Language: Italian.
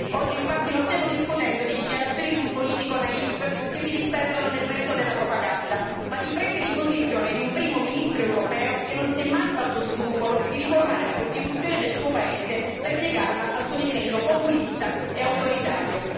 Oggi, infatti, non stiamo discutendo di dichiarazioni di un politico naïf che si disperdono nel vento della propaganda, ma di prese di posizione di un primo ministro europeo che non si è mai fatto scrupoli nel riformare la Costituzione del suo paese per piegarla al suo disegno populista e autoritario.